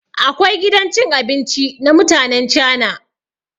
Akwai gidan cin abinci na mutanen cana.